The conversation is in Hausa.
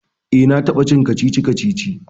eh na taba cin kacici-kacici